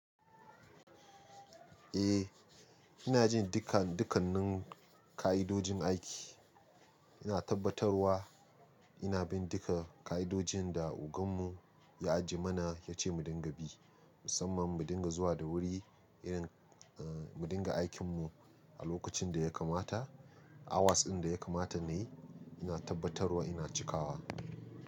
Eh, ina jin dukannin ka'idojin aiki. Ina tabbatarwa ina bin duka ka'idojin da ogan mu ya ajiye mana, ya ce mu dinga bi, musamman mu dinga zuwa da wuri, irin, eh, mu dinga aikinmu a lokacin da ya kamata. Hours din da ya kamata na yi, ina tabbatarwa ina cikawa.